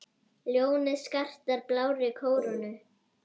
Ljónið skartar blárri kórónu.